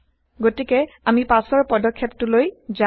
গতিকে আমি পাচৰ পদক্ষেপটোলৈ যাও